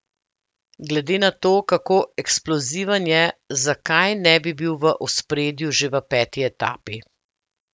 Glede na to, kako eksploziven je, zakaj ne bi bil v ospredju že v peti etapi?